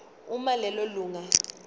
uma lelo lunga